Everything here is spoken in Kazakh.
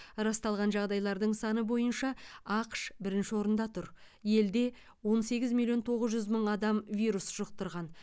расталған жағдайлардың саны бойынша ақш бірінші орында тұр елде он сегіз миллион тоғыз жүз мың адам вирус жұқтырған